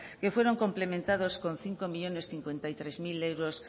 que fueron complementados con cinco millónes cincuenta y tres mil euros